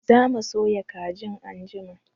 Za mu soya kajin anjima